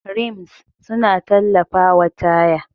Rims suna tallafawa taya.